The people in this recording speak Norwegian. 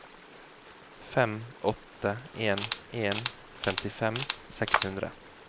fem åtte en en femtifem seks hundre